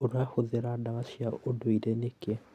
Ūrahũthĩra ndawa cia ũndũire nĩkĩ?